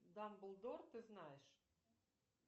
дамблдор ты знаешь